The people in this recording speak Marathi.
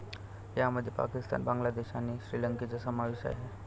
यामध्ये पाकिस्तान, बांगलादेश आणि श्रीलंकेचा समावेश आहे.